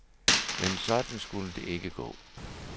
Men sådan skulle det ikke gå.